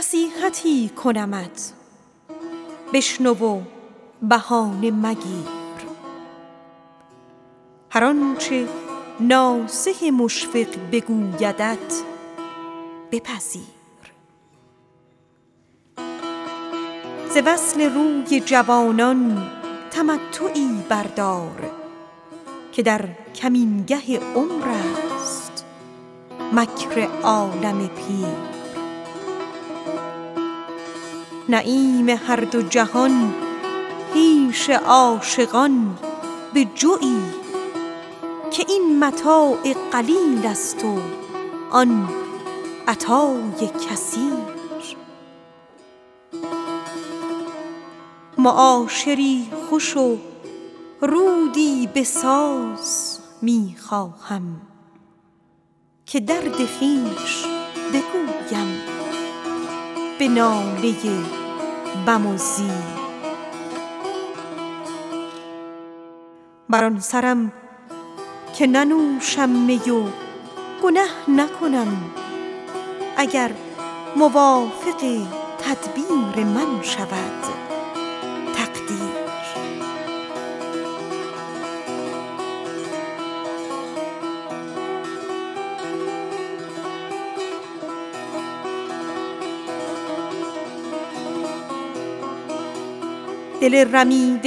نصیحتی کنمت بشنو و بهانه مگیر هر آنچه ناصح مشفق بگویدت بپذیر ز وصل روی جوانان تمتعی بردار که در کمینگه عمر است مکر عالم پیر نعیم هر دو جهان پیش عاشقان بجوی که این متاع قلیل است و آن عطای کثیر معاشری خوش و رودی بساز می خواهم که درد خویش بگویم به ناله بم و زیر بر آن سرم که ننوشم می و گنه نکنم اگر موافق تدبیر من شود تقدیر چو قسمت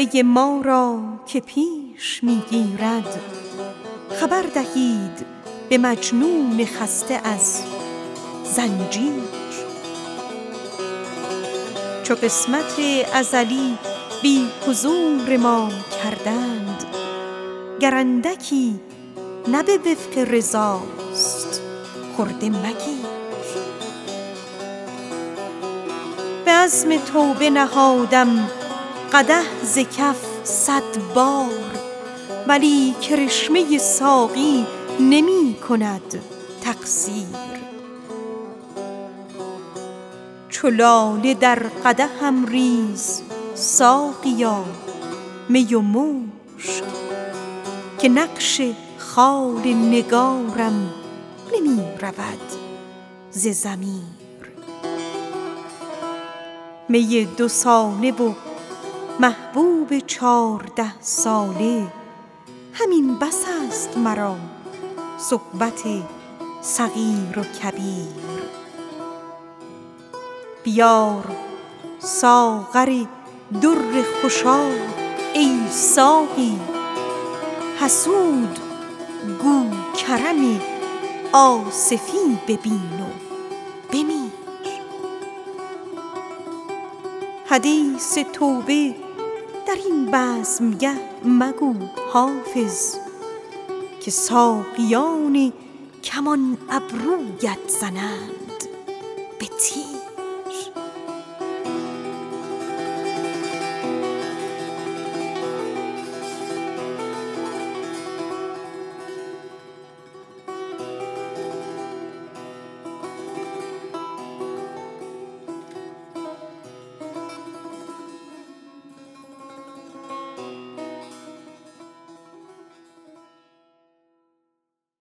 ازلی بی حضور ما کردند گر اندکی نه به وفق رضاست خرده مگیر چو لاله در قدحم ریز ساقیا می و مشک که نقش خال نگارم نمی رود ز ضمیر بیار ساغر در خوشاب ای ساقی حسود گو کرم آصفی ببین و بمیر به عزم توبه نهادم قدح ز کف صد بار ولی کرشمه ساقی نمی کند تقصیر می دوساله و محبوب چارده ساله همین بس است مرا صحبت صغیر و کبیر دل رمیده ما را که پیش می گیرد خبر دهید به مجنون خسته از زنجیر حدیث توبه در این بزمگه مگو حافظ که ساقیان کمان ابرویت زنند به تیر